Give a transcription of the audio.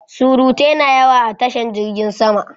surutai na yawa a tashan jirgin sama